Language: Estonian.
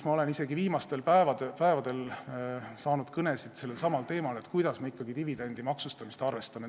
Ma olen isegi viimastel päevadel saanud kõnesid sellelsamal teemal, et kuidas ikkagi dividendi maksustamist arvestada.